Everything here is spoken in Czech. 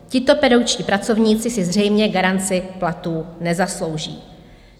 Tito pedagogičtí pracovníci si zřejmě garanci platů nezaslouží.